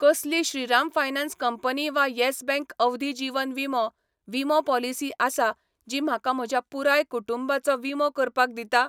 कसली Shriram finance company वा yes bank अवधी जीवन विमो विमो पॉलिसी आसा जी म्हाका म्हज्या पुराय कुटुंबाचो विमो करपाक दिता?